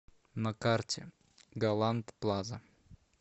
на карте галант плаза